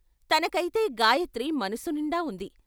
తనకై తే గాయత్రి మనసునిండా ఉంది.